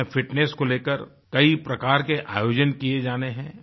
इसमें फिटनेस को लेकर कई प्रकार के आयोजन किए जाने हैं